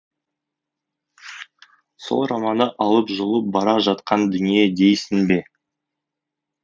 сол романы алып жұлып бара жатқан дүние дейсің бе